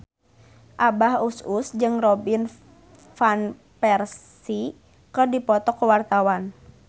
Abah Us Us jeung Robin Van Persie keur dipoto ku wartawan